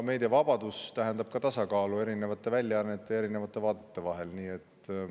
Meediavabadus tähendab ka tasakaalu erinevate väljaannete ja erinevate vaadete vahel.